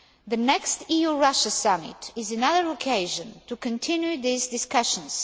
The next EU Russia summit is another opportunity to continue these discussions.